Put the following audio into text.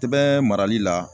Tɛbɛn marali la